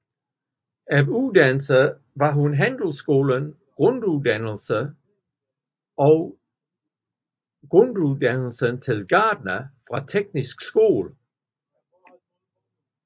Af uddannelser har hun handelsskolens grunduddannelse og grunduddannelsen til gartner fra Teknisk Skole